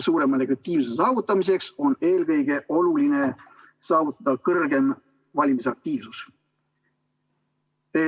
Suurema legitiimsuse saavutamiseks on eelkõige oluline saavutada suurem valimisaktiivsus.